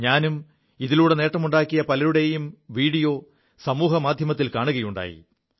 ഞാനും ഇതിലൂടെ നേമുണ്ടാക്കിയ പലരുടെയും വീഡിയോ സമൂഹമാധ്യമത്തിൽ കാണുകയുണ്ടായി